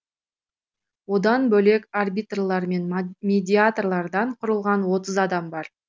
одан бөлек арбитрлар мен медиаторлардан құрылған отыз адам бар